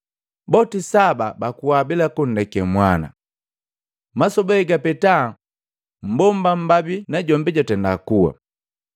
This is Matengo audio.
Boti saba bakua bila kundeka mwana. Masoba egapeta mbomba mmbabi najombi jwatenda kuwa.